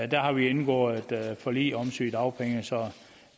der har vi indgået forlig om sygedagpenge så